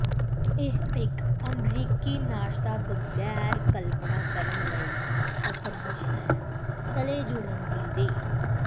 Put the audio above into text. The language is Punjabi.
ਇਹ ਇੱਕ ਅਮਰੀਕੀ ਨਾਸ਼ਤਾ ਬਗੈਰ ਕਲਪਨਾ ਕਰਨ ਲਈ ਅਸੰਭਵ ਹੈ ਤਲੇ ਜੁੜਨ ਦੀ ਦੇ